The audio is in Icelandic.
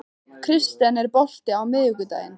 Kirsten, er bolti á miðvikudaginn?